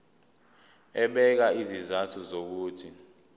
ebeka izizathu zokuthi